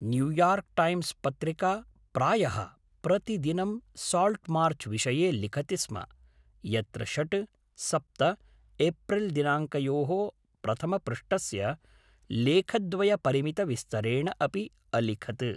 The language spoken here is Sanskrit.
न्यूयार्क् टैम्स् पत्रिका प्रायः प्रतिदिनं साल्ट्मार्चविषये लिखति स्म, यत्र षड्, सप्त एप्रिल्दिनाङ्कयोः प्रथमपृष्ठस्य लेखद्वयपरिमितविस्तरेण अपि अलिखत्।